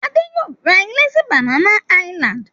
Adé yóò ra ilé sí Banana Island.